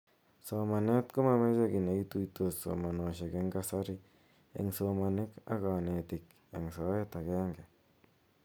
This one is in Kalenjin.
Somanet komomeche ki neituitos somanoshek eng kasari eng somanik k kanetik eng soet agenge.